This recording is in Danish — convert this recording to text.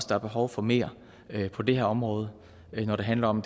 der er behov for mere på det her område når det handler om